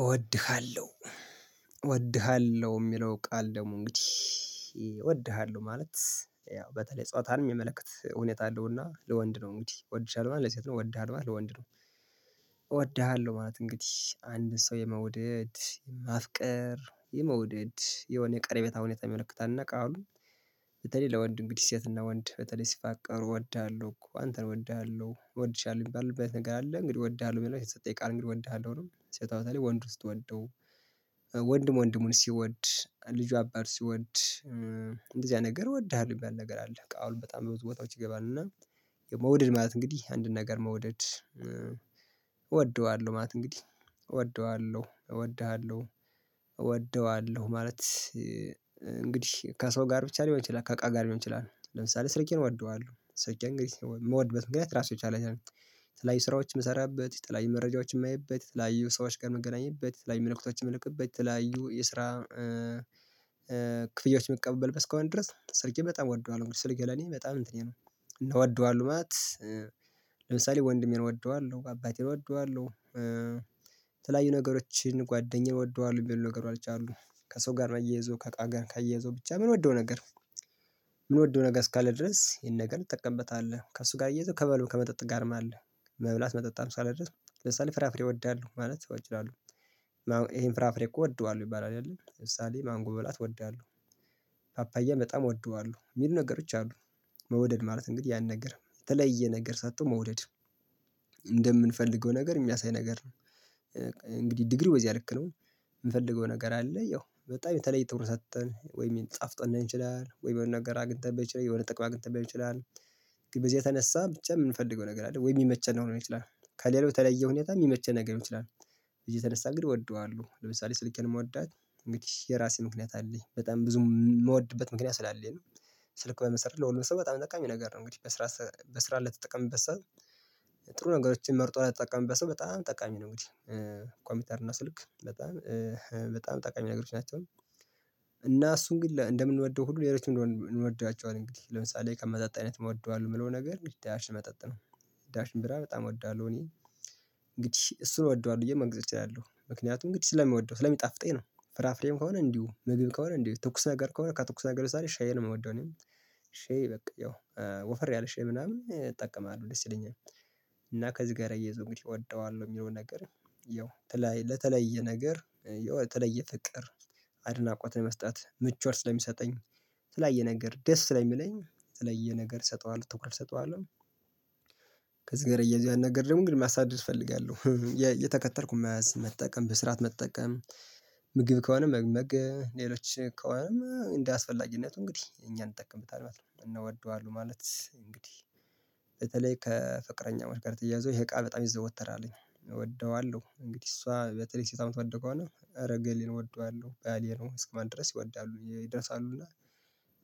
እወድሃለሁ እወድሃለሁ የሚለው ቃል ደግሞ እንግዲህ እወድሃለሁ ማለት ያው በተለይ ጾታን የሚመለከት ሁኔታ አለውና ለወንድ ነው እንግዲህ እወድሻለሁ ለሴት ነው ወድሃለሁ ለወንድ ነው። ወድሃለሁ ማለት እንግዲህ አንድ ሰው የመውደድ ማፍቀር የመውደድ የሆነ የቀረቤታ ሁኔታ ይመለከታል። እና ቃሉ ለወንድ እንግዲህ ሴትና ወንድ በተለይ ሲፋቀሩ እወዳለሁ እኮ አንተን እወድሃለሁ እወድሻለሁ የሚባልበት ነገር አለ። እንግዲህ እወድሃለሁ የሚለው ይሰጠኛል እንግዲህ እወድሃለሁ ነው። ሴት አብረህ ወንድ ውስጥ ወንደው ወንድም ወንድሙን ሲወድ ልጇ አባት ሲወድ እንደዚህ አይነት ነገር እወድሃለሁ የሚባል ነገር አለ። በቃ አሁን በጣም ብዙ ቦታዎች ይገባል። እና የመውደድ ማለት እንግዲህ አንድን ነገር መውደድ። እወደዋለሁ ማለት እንግዲህ እወደዋለሁ እወድ ሃለሁ እወደዋለሁ ማለት። እንግዲህ ከሰው ጋር ብቻ ሊሆን ይችላል። ከእቃ ጋር ሊሆን ይችላል። ለምሳሌ ስልኬን እወደዋለሁ ስልኬ እንግዲህ የምወድበት ምክንያት ራሱን ነው። የተለያዩ ስራዎች የምሰራበት ተለያዩ መረጃዎች የማይበት የተለያዩ ሰዎች ጋር ምገናኝበት ተለያዩ መልእክቶችን የምልክበት የተለያዩ የስራ ክፍያዎች መቀበልበት እስከሆነ ድረስ ስልኬ በጣም እወደዋለሁ። እንግዲህ ስልኬ ለኔ በጣም እንትኔ ነው። እና እ ወደዋለሁ ማለት ለምሳሌ ወንድሜን እወደዋለሁ አባቴን እወደዋለሁ። የተለያዩ ነገሮችን ጓደኛዬን እወደዋለሁ የሚባሉ ነገሮች አሉ። ከሰው ጋር አያይዞ ከእቃ ጋር ካያዘው ብቻ ምንወደው ነገር ምንወደው ነገር እስካለ ድረስ ይሄን ነገር እንጠቀምበታለን። ከእሱ ጋር አያይዘው ከመብል ከመጠጥ ጋርም አለ። መብላት መጠጣት ሳልደርስ ለምሳሌ ፍራፍሬ እወዳለሁ ማለት አሁን እችላለሁ። ይሄን ፍራፍሬ እወደዋለሁ ይባላል አይደለ ለምሳሌ ማንጎ መብላት እወዳለሁ። ፓፓያ በጣም እወደዋለሁ የሚሉ ነገሮች አሉ። መውደድ ማለት እንግዲህ ያን ነገር የተለየ ነገር ሰጥቶ መውደድ እንደምንፈልገው ነገር የሚያሳይ ነገር ነው። እንግዲህ ዲግሪው በዚህ ልክ ነው። የምፈልገው ነገር አለ ያው በጣም የተለየ ትኩረት ሰጠን ወይም ጣፍጦን ሊሆን ይችላል ወይም የሆነ ነገር አግኝተን ብንችላለን የሆነ ጥቅም አግኝተን ሊሆን ይችላል። ግን በዚህ የተነሳ ብቻ የምንፈልገው ነገር አይደለም ወይ የሚመቸን ሊሆን ይችላል። ከሌሎች የተለየ ሁኔታ የሚመቸን ነገር ይችላል። እየተነሳ እንግዲህ እወደዋለሁ ለምሳሌ ስልኬን የምወዳት እንግዲህ የራሴ ምክንያት አለኝ በጣም ብዙ የምወድበት ምክንያት ስላለኝ ነው። ስልክ በመሰረት ለሁሉም ሰው በጣም አጠቃሚ ነገር ነው። እንግዲህ በስራ በስራ ልትጠቀምበት ሰው ጥሩ ነገሮችን መርጦ ልትጠቀምበት ሰው በጣም ጠቃሚ ነው እንግዲህ። ኮምፒተር እና ስልክ በጣም በጣም ጠቃሚ ነገሮች ናቸው። እና እሱን ግን እንደምንወደው ሁሉ ሌሎችን ምን እንግዲህ ለምሳሌ ከመጠጥ አይነት እንወደዋለን የምለው ነገር ዳሽን መጠጥ ነው። ዳሽን ቢራ በጣም እወዳለሁ እኔ እንግዲህ እሱን እወደዋለሁ ብዬ መንገር እችላለሁ ምክንያቱም እንግዲህ ስለሚወደው ስለሚጣፍጠኝ ነው። ፍራፍሬም ከሆነ እንዲሁ ምግብ ከሆነ እንዲሁ ትኩስ ነገር ከሆነ ከትኩስ ነገር ዛሬ ሻይ ነው የምወደው እኔም ሻይ በቃ ያው ወፈር ያለ ሻይ ምናምን እጠቀማለሁ ደስ ይለኛል። እና ከዚህ ጋር አያይዞ እወደዋለሁ የሚለውን ነገር። ያው ለተለያየ ነገር የተለየ ፍቅር አድናቆት ነው መስጠት ምቾት ስለሚሰጠኝ። የተለያየ ነገር ደስ ስለሚለኝ የተለየ ነገር እሰጠዋለሁ ትኩረት እሰጠዋለሁ። ከዚህ ጋር አያይዞ አንድ ነገር ደግሞ እንግዲህ ማስተላለፍ እፈልጋለሁ። የተከተልኩኝ መያዝ መጠቀም በስርዓት መጠቀም። ምግብ ከሆነ መግመግ ሌሎች ከሆነም እንደያስፈላጊነቱ እንግዲህ እኛን እንጠቀምበታለን እናወደዋለን ማለት እንግዲህ። በተለይ ከፍቅረኛዎች እያዘው ይሄ እቃ በጣም ይዘው ወተራለኝ እወደዋለሁ እንግዲህ እሷ በተለይ ሴት አመት ወደቀው እና እረገሌን እወደዋለሁ ባሌ ነው እስከማለት ድረስ ይወዳሉ ይደርሳሉና።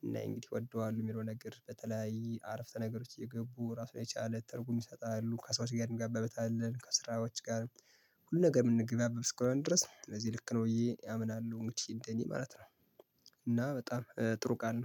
እና እንግዲህ እወደዋለው የሚለው ነገር በተለይ አረፍተ ነገሮች እየገቡ ራሱ የቻለ ትርጉም ይሰጣሉ ከሰዎች ጋር እንገባበታለን ከስራዎች ጋር። ሁል ነገር የምንገባበት ከሆነ ድረስ እነዚህ ልክ ነው ብዬ አምናለሁ እኔ ማለት ነው። እና በጣም ጥሩ ቃል ነው